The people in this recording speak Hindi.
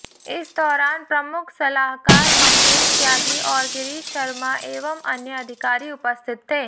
इस दौरान प्रमुख सलाहकार मंगेस त्यागी और गिरीश शर्मा एवं अन्य अधिकारी उपस्थित थे